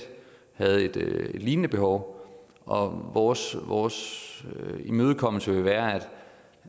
havde et lignende behov og vores vores imødekommelse vil være